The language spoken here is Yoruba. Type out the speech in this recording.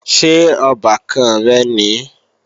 Ṣé ọbàkan rẹ̀ nìí?